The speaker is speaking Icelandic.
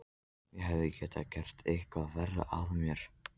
Ég hefði getað gert eitthvað verra af mér.